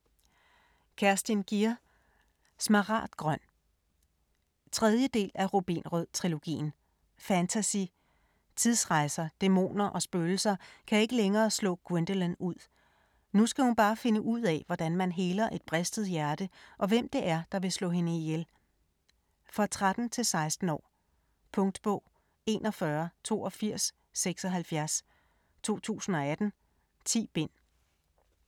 Gier, Kerstin: Smaragdgrøn 3. del af Rubinrød-trilogien. Fantasy. Tidsrejser, dæmoner og spøgelser kan ikke længere slå Gwendolyn ud. Nu skal hun bare finde ud af, hvordan man heler et bristet hjerte og hvem det er, der vil slå hende ihjel. For 13-16 år. Punktbog 418276 2018. 10 bind.